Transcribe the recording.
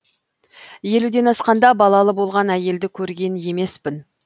елуден асқанда балалы болған әйелді көрген емеспін